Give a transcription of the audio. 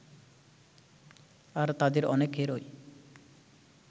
আর তাদের অনেকেরই